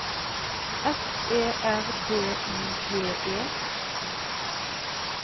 F E R D I G E